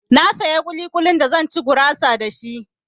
Na saya ƙuli-ƙulin da zan ci gurasa da shi.